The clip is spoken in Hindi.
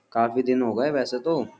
काफी दिन हो गए वैसे तो।